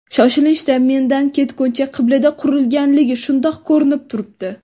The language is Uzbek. Shoshilinchda, mendan ketguncha qabilida qurilganligi shundoq ko‘rinib turibdi.